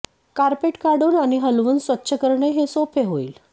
carpet काढुन आणि हलवून स्वच्छ करणे हे सोपे होईल